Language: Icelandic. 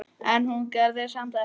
En hún gerði samt ekkert.